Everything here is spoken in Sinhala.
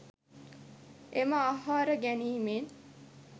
එම ආහාර ගැනීමෙන්